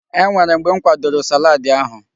E nwere mgbe m kwadoro salaadi ahụ.